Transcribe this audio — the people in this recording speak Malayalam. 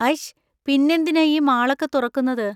ഐശ്! പിന്നെന്തിനാ ഈ മാളൊക്കെ തുറക്കുന്നത്?